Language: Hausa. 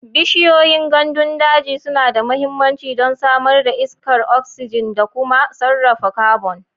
Bishiyoyin gandun daji suna da mahimmanci don samar da iskar oxygen da kuma sarrafa carbon.